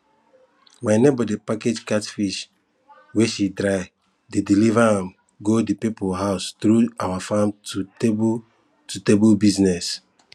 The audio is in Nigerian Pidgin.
my neighbor dey package catfish wey she dry dey deliver am go the people house through our farm to table to table business